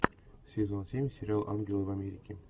сезон семь сериал ангелы в америке